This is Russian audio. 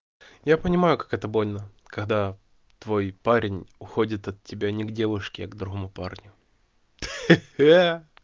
я понимаю как это больно когда твой парень уходит от тебя не к девушки а к другому парню хе-хе